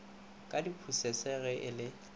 ka diphusese ge e le